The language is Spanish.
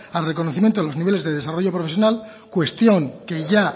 al reconocimiento de los niveles de desarrollo profesional cuestión que ya